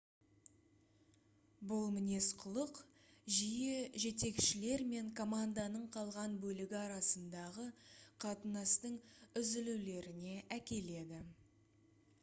бұл мінез-құлық жиі жетекшілер мен команданың қалған бөлігі арасындағы қатынастың үзілулеріне әкеледі